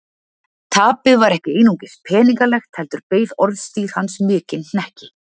Tapið var ekki einungis peningalegt heldur beið orðstír hans mikinn hnekki.